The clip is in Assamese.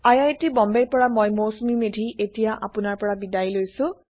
আই আই টি বম্বেৰ পৰা মই মৌচুমি মেধী এতিয়া আপোনাৰ পৰা বিদায় লৈছো